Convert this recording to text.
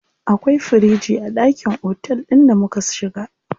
Akwai firiji a ɗakin otel ɗin da muka shiga.